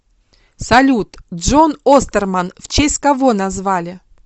салют джон остерман в честь кого назвали